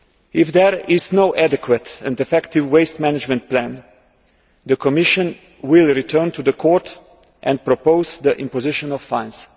If there is no adequate and effective waste management plan, the Commission will return to the Court and propose the imposition of fines.